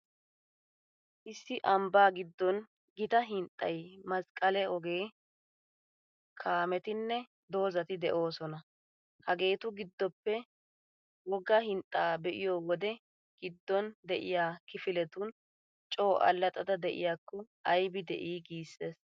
Issi ambbaa giddon gita hinxxay, masqqale ogee, kaametinne dozati de'oosona. Hageetu giddoppe wogga hinxxaa be'iyo wodee giddon de'iyaa kifiletun coo allaxxada de'iyaakko aybi de'ii !! Giissees.